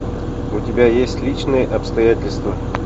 у тебя есть личные обстоятельства